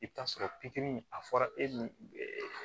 I bɛ taa sɔrɔ pikiri a fɔra e ni